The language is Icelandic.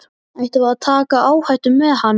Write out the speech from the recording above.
Ættum við að taka áhættu með hann?